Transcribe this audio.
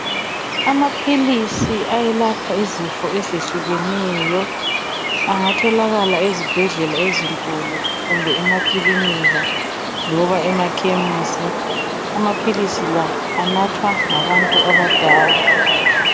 Amaphilisi ayelapha izifo ezehlukeneyo. Angatholakala ezibhedlela ezinkulu kumbe emakilinika loba emakhemisi. Amaphilisi la anathwa ngabantu abadala.